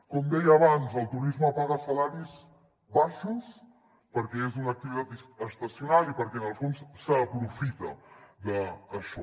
com deia abans el turisme paga salaris baixos perquè és una activitat estacional i perquè en el fons s’aprofita d’això